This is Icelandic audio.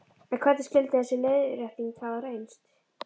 En hvernig skyldi þessi leiðrétting hafa reynst?